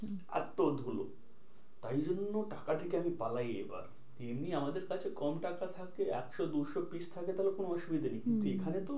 এত্ত ধুলো তাই জন্য টাকা থেকে আমি পালাই এবার। এমনি আমাদের কাছে কম টাকা থাকে একশো দুশো piece থাকে তাহলে কোনো অসুবিধা নেই। হম এইখানেতো